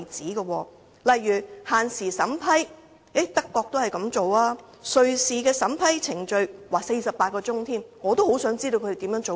例如德國也設有限時審批，瑞士的審批程序更只有48小時——我也很想知道它們如何做到。